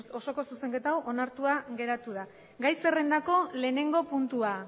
osoko zuzenketa hau onartua geratu da gai zerrendako lehenengo puntua